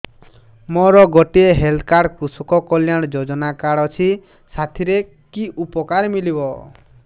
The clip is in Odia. ମୋର ଗୋଟିଏ ହେଲ୍ଥ କାର୍ଡ କୃଷକ କଲ୍ୟାଣ ଯୋଜନା କାର୍ଡ ଅଛି ସାଥିରେ କି ଉପକାର ମିଳିବ